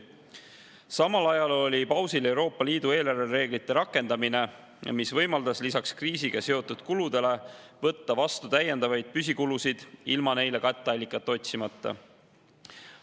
Samal ajal oli pausil Euroopa Liidu eelarvereeglite rakendamine, mis võimaldas lisaks kriisiga seotud kuludele võtta vastu täiendavaid püsikulusid ilma neile katteallikat otsimata.